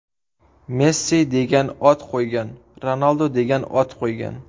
Messi degan ot qo‘ygan, Ronaldu degan ot qo‘ygan”.